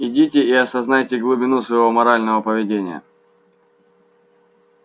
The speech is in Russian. идите и осознайте глубину своего морального поведения